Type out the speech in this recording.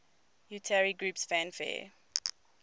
utari groups fanfare